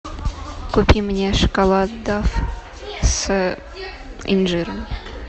купи мне шоколад дав с инжиром